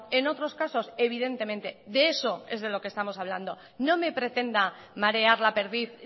en otros casos evidentemente de eso es de lo que estamos hablando no me pretenda marear la perdiz